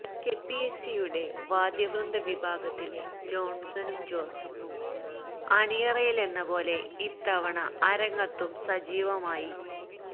K P A C യുടെ വാദ്യ വൃന്ദ വിഭാഗത്തിലെ ജോണ്സണും ജോസഫും അണിയറയിലെന്നപോലെ ഇത്തവണ അരങ്ങത്തും സജീവമായി